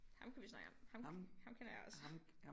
Ham kan vi snakke om ham ham kender jeg også